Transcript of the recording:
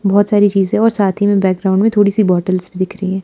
बहोत सारी चीजें और साथ ही बैकग्राउंड में थोड़ी सी बॉटल्स भी दिख रही है।